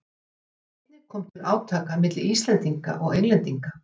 Einnig kom til átaka milli Íslendinga og Englendinga.